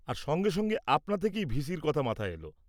আর সঙ্গে সঙ্গে আপনা থেকেই ভিসির কথা মাথায় এল।